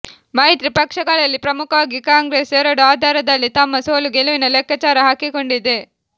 ಮೈತ್ರಿ ಪಕ್ಷಗಳಲ್ಲಿ ಪ್ರಮುಖವಾಗಿ ಕಾಂಗ್ರೆಸ್ ಎರಡು ಆಧಾರದಲ್ಲಿ ತಮ್ಮ ಸೋಲು ಗೆಲುವಿನ ಲೆಕ್ಕಾಚಾರ ಹಾಕಿಕೊಂಡಿದೆ